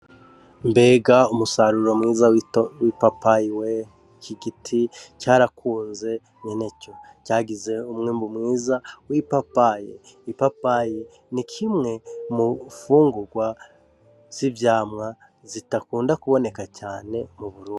Mbega umusaruro mwiza w'ipapayiwe iki giti carakunze nyeneco cagize umwembu mwiza w'ipapaye ipapaye ni kimwe mufungurwa z'ivyamwa zitakunda kuboneka cane muburundi